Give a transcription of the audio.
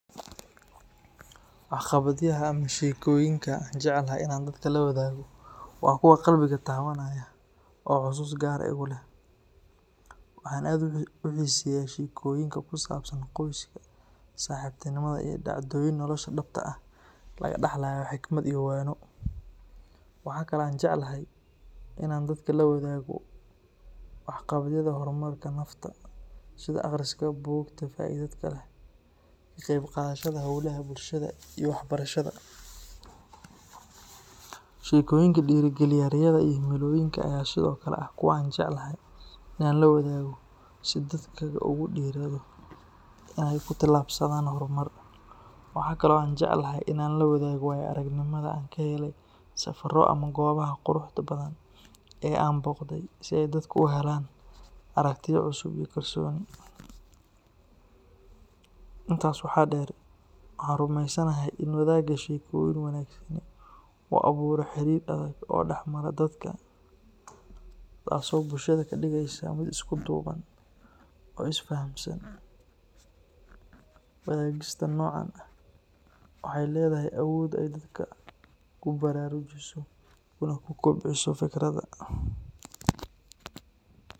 Waxqabadyaha ama sheekooyinka aan jecelahay in aan dadka la wadaago waa kuwa qalbiga taabanaya oo xasuus gaar ah igu leh. Waxaan aad u xiiseeyaa sheekooyinka ku saabsan qoyska, saaxiibtinimada, iyo dhacdooyin nolosha dhabta ah laga dhaxlayo xikmad iyo waano. Waxa kale oo aan jeclahay in aan dadka la wadaago waxqabadyada horumarka nafta, sida akhriska buugaagta faa’iidada leh, ka qaybqaadashada hawlaha bulshada, iyo waxbarashada. Sheekooyinka dhiirrigeliya riyada iyo himilooyinka ayaa sidoo kale ah kuwa aan jeclahay in aan la wadaago si dadku ugu dhiirrado inay ku talaabsadaan horumar. Waxaa kale oo aan jecelahay in aan la wadaago waayo-aragnimada aan ka helay safarro ama goobaha quruxda badan ee aan booqday, si ay dadku u helaan aragtiyo cusub iyo kalsooni. Intaas waxaa dheer, waxaan rumeysanahay in wadaagga sheekooyin wanaagsani uu abuuro xiriir adag oo dhexmara dadka, taasoo bulshada ka dhigaysa mid isku duuban oo is fahamsan. Wadaagista noocan ah waxay leedahay awood ay dadka ku baraarujiso kuna kobciso fikirka.